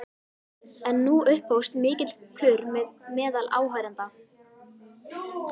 En nú upphófst mikill kurr meðal áheyrenda.